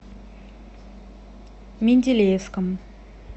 менделеевском